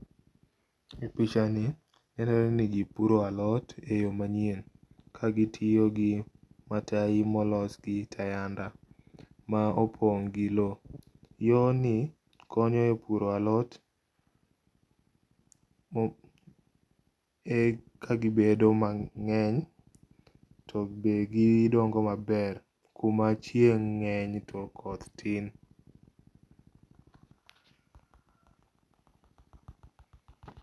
Pichani aneno ni ji puro alot e yo manyien. Kagitiyo gi matayi mols gi tayanda ma opong' gi lo. Yoni konyo e puro alot eka gibedo mang'eny to be gidongo maber kumachieng' ng'eny to koth tin.